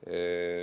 Selge.